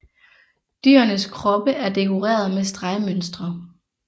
Dyrenes kroppe er dekoreret med stregmønstre